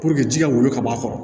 ji ka wolo ka bɔ a kɔrɔ